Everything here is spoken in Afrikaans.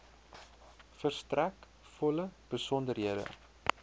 verstrek volle besonderhede